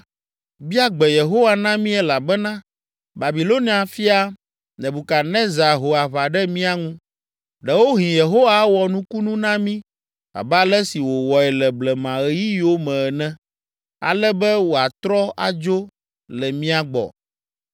“Bia gbe Yehowa na mí elabena Babilonia fia, Nebukadnezar ho aʋa ɖe mía ŋu. Ɖewohĩ Yehowa awɔ nukunu na mí abe ale si wòwɔe le blemaɣeyiɣiwo me ene, ale be wòatrɔ adzo le mía gbɔ.”